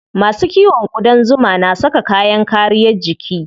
Masu kiwon ƙudan zuma na saka kayan kariyar jiki.